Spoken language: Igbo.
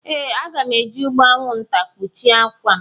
Ee, aga m eji ụgbụ anwụnta kpuchie akwa m.